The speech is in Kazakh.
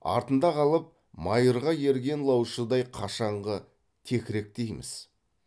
артында қалып майырға ерген лаушыдай қашанғы текіректейміз